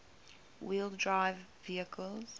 wheel drive vehicles